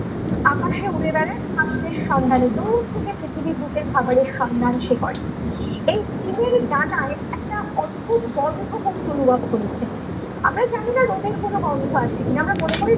আকাশে উড়ে বেড়ায় খাদ্যের সন্ধানের দূর থেকে পৃথিবীর বুকে খাবারের সন্ধান সে করে এই চিলের দানায় একটি অদ্ভুত গন্ধ কবি অনুভব করেছেন আমরা জানিনা রোদের কোনো গন্ধ আছে কিনা আমরা মনে করি